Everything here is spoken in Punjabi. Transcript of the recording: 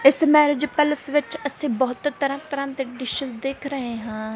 ਇੱਸ ਮੈਰਿਜ ਪੈਲੇਸ ਵਿੱਚ ਅੱਸੀਂ ਬਹੁਤ ਤਰਹਾਂ ਤਰਹਾਂ ਦੇ ਡਿਸ਼ੇਸ ਦੇਖ ਰਹੇਂ ਹਾਂ।